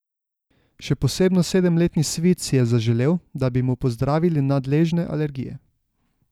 Še posebno sedemletni Svit si je zaželel, da bi mu pozdravili nadležne alergije.